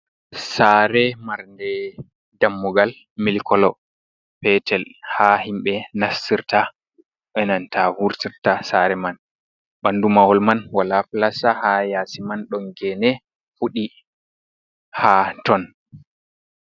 Saare marnde dammugal milkolo peetel. Ha himɓe nassirta enanta wurtirta saare man. Ɓanndu mahol man walaa filasta, ha yaasi man ɗon geene fuɗɗi ha ton.